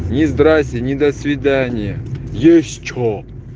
ни здрасьте ни до свидания есть что